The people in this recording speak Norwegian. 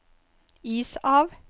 is av